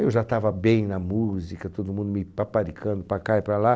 Eu já estava bem na música, todo mundo me paparicando para cá e para lá.